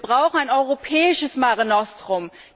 Wir brauchen ein europäisches Mare Nostrum.